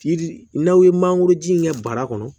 Yiri n'aw ye mangoro ji in kɛ bara kɔnɔ